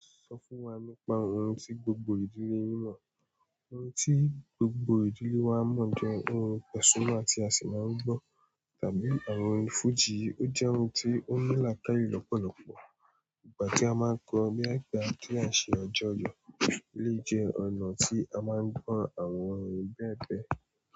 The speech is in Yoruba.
Sọ fún wa nípa ohun tí gbogbo ìdílé yín mọ̀. Ohun tí gbogbo ìdílé wa mọ̀ jẹ́ orin Pasuma tí a sì máa ń gbọ́ tàbí àwọn orin fújì. Ó jẹ́ orin tí ó ní làákàìlẹ̀ lọ́pọ̀lọpọ̀. Ìgbà tí a máa ń kọ, nígbà tí à ṣe àjọyọ̀, ó lè jẹ́ ọ̀nà tí a máa ń gbọ̀ àwọn orin bẹ́ẹ̀ bẹ́ẹ̀.